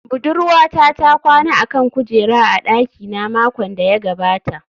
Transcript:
Budurwata ta kwana a kan kujera a dakina makon da ya gabata